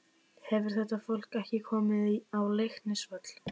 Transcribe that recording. Hefur þetta fólk ekki komið á Leiknisvöll?